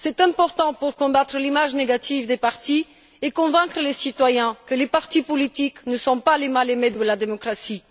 C'est important pour combattre l'image négative des partis et convaincre les citoyens que les partis politiques ne sont pas les mal aimés de la démocratie.